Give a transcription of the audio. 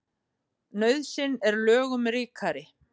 Nauðsyn er lögum ríkari.